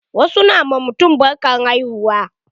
Wasu na ma mutum barkan haihuwa.